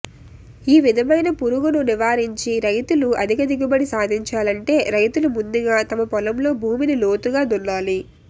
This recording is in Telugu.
ఈ విధమైన పురుగును నివారించి రైతులు అధిక దిగుబడి సాధించాలంటే రైతులు ముందుగా తమ పొలంలో భూమిని లోతుగా దున్నాలి